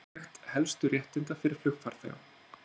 Samantekt helstu réttinda fyrir flugfarþega